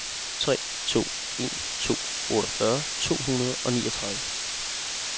tre to en to otteogfyrre to hundrede og niogtredive